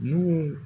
N'u